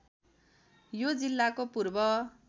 यो जिल्लाको पूर्व